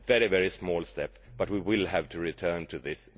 It is a very small step, but we will have to return to this.